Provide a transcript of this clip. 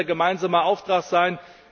Das wird unser gemeinsamer Auftrag sein.